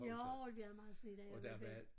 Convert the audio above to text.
Jo vi havde meget sne da jeg var belli